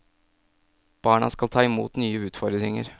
Barna skal ta i mot nye utfordringer.